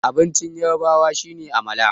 abincin yarabawa shi ne amala